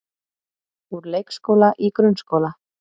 Úr leikskóla í grunnskóla